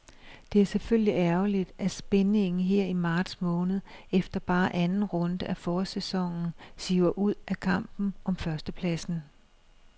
Det er selvfølgelig ærgerligt, at spændingen her i marts måned efter bare anden runde af forårssæsonen siver ud af kampen om førstepladsen.